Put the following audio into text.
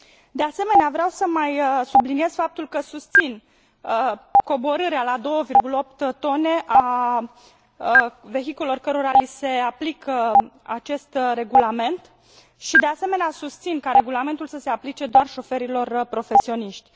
De asemenea, vreau să mai subliniez faptul că susțin coborârea la 2,8 tone a vehiculelor cărora li se aplică acest regulament, și, de asemenea, susțin ca regulamentul să se aplice doar șoferilor profesioniști.